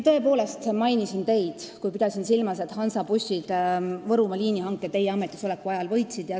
Tõepoolest pidasin ma silmas teid, kui mainisin, et Hansabuss Võrumaa liinihanke teie ametisoleku ajal võitis.